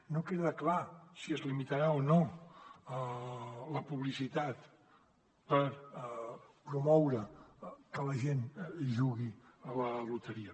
no queda clar si es limitarà o no la publicitat per promoure que la gent jugui a la loteria